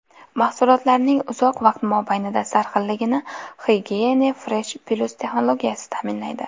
Mahsulotlarning uzoq vaqt mobaynida sarxilligini Hygiyene Fresh+ texnologiyasi ta’minlaydi.